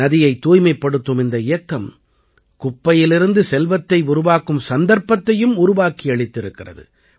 நதியைத் தூய்மைப்படுத்தும் இந்த இயக்கம் குப்பையிலிருந்து செல்வத்தை உருவாக்கும் சந்தர்ப்பத்தையும் உருவாக்கியளித்திருக்கிறது